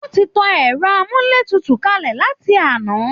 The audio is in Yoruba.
Wọ́n ti tan ẹrọ amúlétutu kalẹ láti àná